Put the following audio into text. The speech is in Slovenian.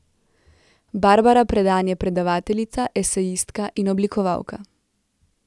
Barbara Predan je predavateljica, esejistka in oblikovalka.